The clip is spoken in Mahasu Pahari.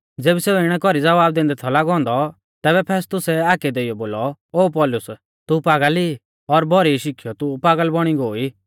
ज़ेबी सेऊ इणै कौरी ज़वाब दैंदै थौ लागौ औन्दौ तैबै फेस्तुसै हाकै देइयौ बोलौ ओ पौलुस तू पागल ई और भौरी शिखीयौ तू पागल बौणी गोई